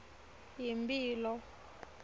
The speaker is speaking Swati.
yimphilo